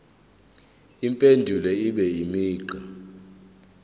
impendulo ibe imigqa